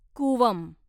Cooum